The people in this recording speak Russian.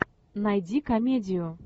найди комедию